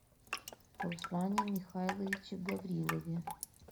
руслане михайловиче гаврилове